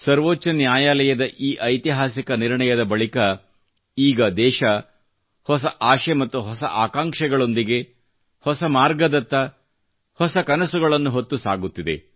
ಸರ್ವೋಚ್ಚ ನ್ಯಾಯಾಲಯದ ಈ ಐತಿಹಾಸಿಕ ನಿರ್ಣಯದ ಬಳಿಕ ಈಗ ದೇಶ ಹೊಸ ಆಶೆ ಮತ್ತು ಹೊಸ ಆಕಾಂಕ್ಷೆಗಳೊಂದಿಗೆ ಹೊಸ ಮಾರ್ಗದತ್ತ ಹೊಸ ಕನಸುಗಳನ್ನು ಹೊತ್ತು ಸಾಗುತ್ತಿದೆ